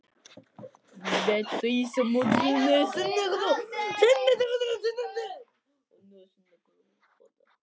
Védís, manstu hvað verslunin hét sem við fórum í á miðvikudaginn?